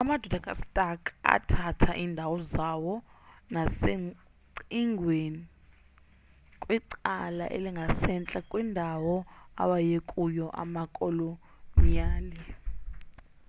amadoda kastark athatha iindawo zawo ngasecingweni kwicala elingasentla kwendawo awayekuwo amakoloniyali